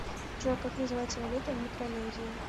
джой как называется валюта в микронезии